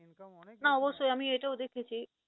না অবশ্যই আমি এটাও দেখেছি।